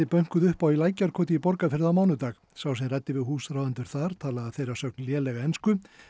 bönkuðu upp á í Lækjarkoti í Borgarfirði á mánudag sá sem ræddi við húsráðendur talaði að þeirra sögn lélega ensku